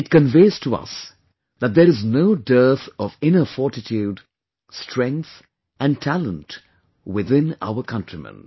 It conveys to us that there is no dearth of inner fortitude, strength & talent within our countrymen